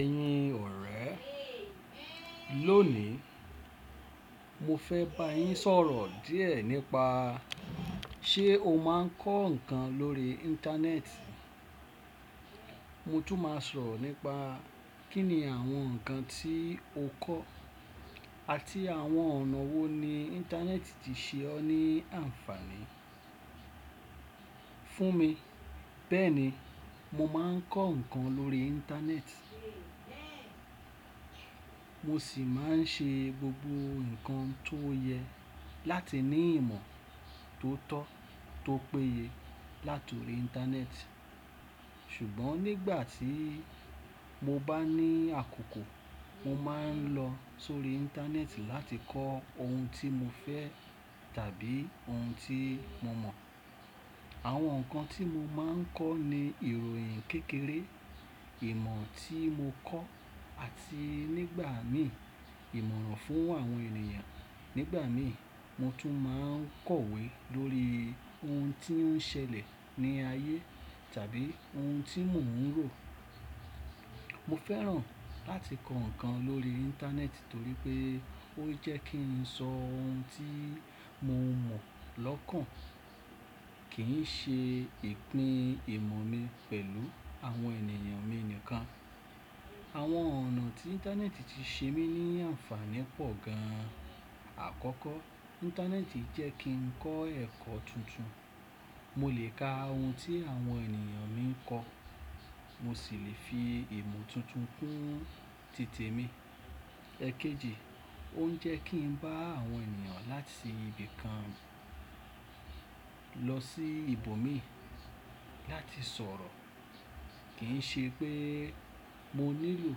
Ẹ̀yin ọ̀rẹ́, lónìí mo fẹ́ bá yín sọ̀rọ̀ díẹ̀ nípa ṣe o máa ń kọ́ ǹkan lórí Íńtánẹ́ẹ̀tì? Mo tún máa sọ̀rọ̀ nípa kíni àwọn ǹkan tí o kọ́ àti àwọn ọ̀nà wo ni Íńtánẹ́ẹ̀tì ti ṣe ọ́ ní ànfàní. Fún mi, bẹ́ẹ̀ni mo máa ń kọ́ ǹkan lórí Íńtánẹ́ẹ̀tì, mo sì máa ń ṣe gbogbo ǹkan tó yẹ láti ní ìmọ̀ tó tọ́ tó péye látùrí Íńtánẹ́ẹ̀tì. Ṣùgbọ́n nígbà tí mo bá ní àkókò, mo máa ń lọ sórí Íńtánẹ́ẹ̀tì láti kọ́ ohun tí mo fẹ́ tàbí ohun tí mo mọ̀. Àwọn ǹkan tí mo máa ń kọ́ ni ìròyìn kékeré, ìmọ̀ tí mo kọ́ àti nígbà mí ìmọ̀ràn fún àwọn ènìyàn. Nígbà mí mo tún máa ń kọ̀wé lórí ohun tí ó ń ṣẹlẹ̀ ní ayé tàbí ohun tí mò ń rò. Mo fẹ́ràn láti kọ́ ǹkan lórí Íńtánẹ́ẹ̀tì torí pé ó jẹ́ kí n so ohun tí mo mọ̀ lọ́kàn, kì í ṣe ìpín ìmọ̀ mi pẹ̀lú àwọn ènìyàn mi nìkan. Àwọn ọ̀nà tí Íńtánẹ́ẹ̀tì ti ṣe mí ní ànfàní pọ̀ gan. Àkọ́kọ́, Íńtánẹ́ẹ̀tì jẹ́ kí ń kọ́ ẹ̀kọ́ tuntun. Mo lè ka ohun tí àwọn ènìyàn mi ń kọ́, mo sì lè fi ìmọ̀ tuntun kún tìtẹ̀ mi. Ẹ̀kéjì, ó ń jẹ́ kí ń bá àwọn ènìyàn láti ibì kan lọ sí ibòmíràn láti sọ̀rọ̀. Kì í ṣe pé mo nílò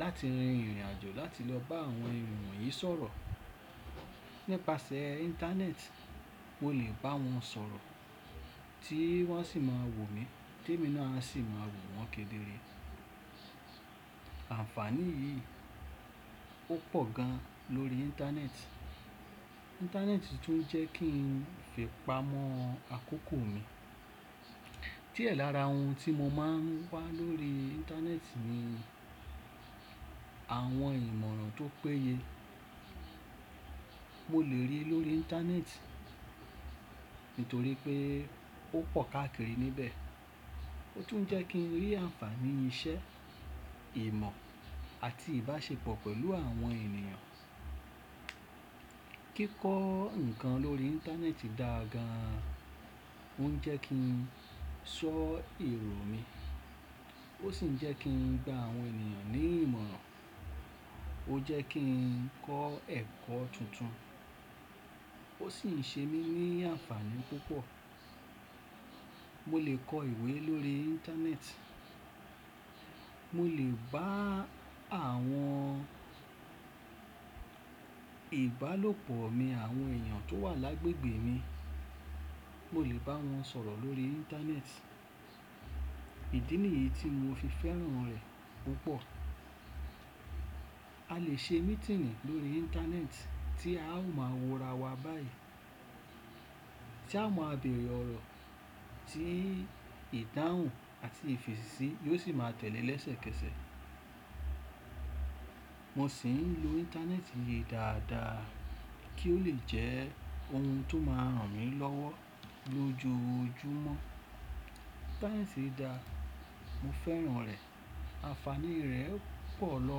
láti rin ìrìnàjò láti lọ bá àwọn ènìyàn yìí sọ̀rọ̀. Nípasẹ̀ Íńtánẹ́ẹ̀tì, mo lè bá wọn sọ̀rọ̀ tí wọ́n sì máa wò mí, témi náà sì máa wò wọ́n kéderé. Ànfàní yìí ó pọ̀ gan lórí Íńtánẹ́ẹ̀tì. Íńtánẹ́ẹ̀tì tún ń jẹ́ kí n lè fi pamọ́ àkókò mi. Diẹ lára ohun tí mo máa ń wá lórí Íńtánẹ́ẹ̀tì ni àwọn ìmọ̀ràn tó péye. Mo lè rí i lórí Íńtánẹ́ẹ̀tì nítorí pé ó pọ̀ káàkiri níbẹ̀. Ó tún ń jẹ́ kí ń rí ànfàní iṣẹ́, ìmọ̀ àti ìbáṣepọ̀ pẹ̀lú àwọn ènìyàn. Kíkọ́ ǹkan lórí Íńtánẹ́ẹ̀tì dáa gan, ó ń jẹ́ kí ń ṣọ́ ìròyìn mi, ó sì ń jẹ́ kí ń gba àwọn ènìyàn ní ìmọ̀ràn. Ó jẹ́ kí ń kọ́ ẹ̀kọ́ tuntun, ó sì ń ṣe mí ní ànfàní púpọ̀. Mo lè kọ ìwé lórí Íńtánẹ́ẹ̀tì, mo lè bá àwọn ìbálòpọ̀ mi àwọn ènìyàn tó wà lágbègbè mi, mo lè bá wọn sọ̀rọ̀ lórí Íńtánẹ́ẹ̀tì. Ìdí nìyí tí mo fi fẹ́ràn rẹ̀ púpọ̀. A lè ṣe mítìǹ lórí Íńtánẹ́ẹ̀tì tí a ó máa wo ra wa báyìí, tí a máa bèrè ọ̀rọ̀ tí ìdáhùn àti ìfẹ̀sísí yóò sì máa tẹ̀lé lẹ́sẹ̀kẹsẹ̀. Mo sì ń lo Íńtánẹ́ẹ̀tì yìí dáadáa kí ó lè jẹ́ ohun tó máa ràn mí lọ́wọ́ lójoojúmọ́. Sáyẹ́ǹsì dà, mo fẹ́ràn rẹ̀. Ànfàní rẹ̀ pọ̀ lọ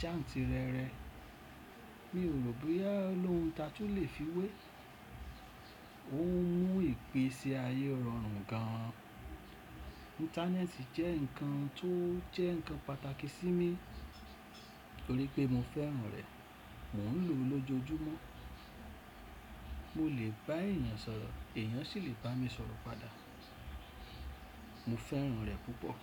jáǹtìrẹrẹ, mi ò rò boya olóhùn tà tu lè fi wé. Ó ń mú ìpè sí ayé rọrùn gan. Íńtánẹ́ẹ̀tì jẹ́ ǹkan tó jẹ́ ǹkan pàtàkì sí mi nítorí pé mo fẹ́ràn rẹ̀. Mò ń lò ó lójoojúmọ́. Mo lè bá èèyàn sọ̀rọ̀, èèyàn sì lè bá mi sọ̀rọ̀ padà. Mo fẹ́ràn rẹ̀ púpọ̀.